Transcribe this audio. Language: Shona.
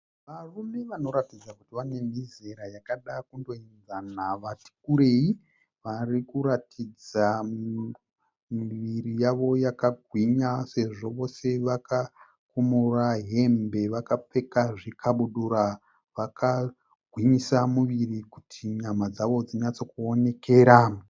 Varume vanoratidza kuti vane mizera yakada kundoenzana vati kurei. Varikuratidza miviri yavo yakagwinya sezvo vose vakakumura hembe vakapfeka zvikabudura, vakagwinyisa miviri kuti nyama dzavo dzinyatsokuonekera.